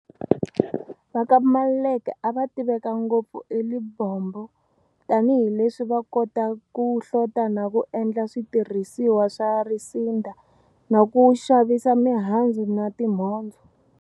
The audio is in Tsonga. Va ka Maluleke a va tiveka ngopfu eLibombo tani hi leswi a va kota ku hlota na ku endla switirhisiwa swa risinda na ku xavisa mihandzu na timhondzo.